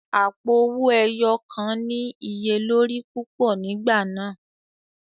Àpo owó ẹyọ kàn ní iye lórí púpọ̀ nígbà náà.